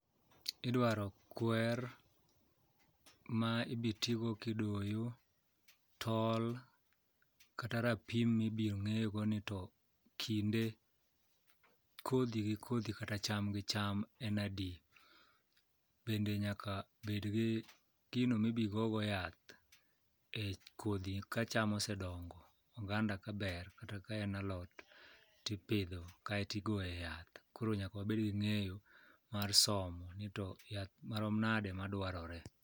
Idwaro kwer ma ibitigo kidoyo, tol kata rapim mibiro ng'ego ni to kinde kodhi gi kodhi kata cham gi cham en adi. Bende nyakabed gi gino mibigogo yath e kodhi kacham osedongo oganda kaber kata ka en alot tipidho kaeto igoye yath koro nyaka wabed gi ng'eyo mar somo ni to yath marom nade madwarore.